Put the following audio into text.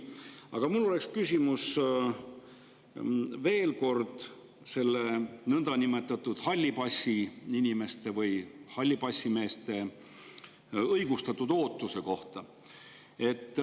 Aga mul on veel kord küsimus selle niinimetatud hallipassiinimeste või hallipassimeeste õigustatud ootuse kohta.